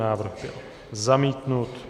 Návrh byl zamítnut.